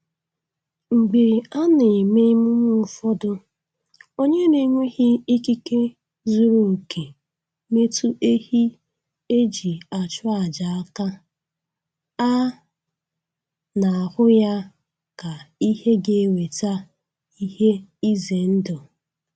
Mgbe a na-eme emume ụfọdụ, onye na-enweghị ikike zuru oke metụ ehi e ji achụ aja aka, a na-ahụ ya ka ihe ga-eweta ihe ize ndụ